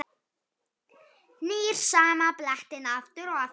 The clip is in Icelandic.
Nýr sama blettinn aftur og aftur.